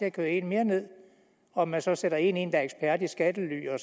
at køre en mere ned og at man så sætter en ind der er ekspert i skattely og